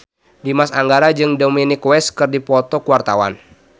Dimas Anggara jeung Dominic West keur dipoto ku wartawan